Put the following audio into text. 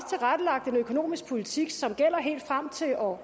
tilrettelagt en økonomisk politik som gælder helt frem til år